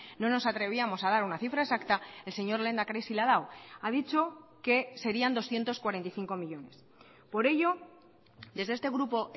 no nos atrevíamos a dar una cifra exacta el señor lehendakari sí la ha dado ha dicho que serían doscientos cuarenta y cinco millónes por ello desde este grupo